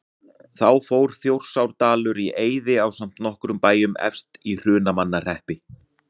Þá fór Þjórsárdalur í eyði ásamt nokkrum bæjum efst í Hrunamannahreppi.